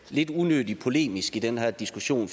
lidt unødig polemisk i den her diskussion